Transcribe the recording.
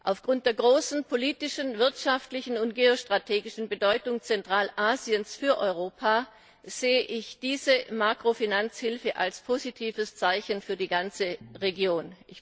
Aufgrund der großen politischen, wirtschaftlichen und geostrategischen Bedeutung Zentralasiens für Europa sehe ich diese Makrofinanzhilfe als positives Zeichen für die ganze Region.